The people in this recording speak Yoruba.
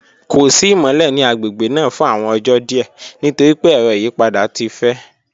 Ko si imọlẹ ni agbegbe naa fun awọn ọjọ diẹ nitori pe ẹrọ iyipada ti fẹ.